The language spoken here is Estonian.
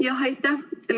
Jah, aitäh!